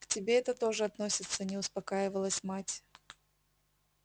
к тебе это тоже относится не успокаивалась мать